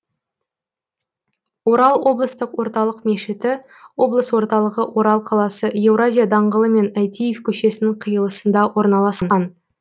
орал облыстық орталық мешіті облыс орталығы орал қаласы еуразия даңғылы мен әйтиев көшесінің қиылысында орналасқан